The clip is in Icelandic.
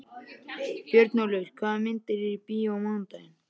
Björnólfur, hvaða myndir eru í bíó á mánudaginn?